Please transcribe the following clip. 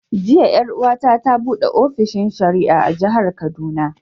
Jiya 'yar'uwa ta ta buɗe ofishin shari'a a Jihar Kaduna.